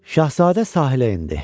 Şahzadə sahilə endi.